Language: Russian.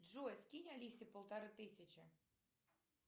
джой скинь алисе полторы тысячи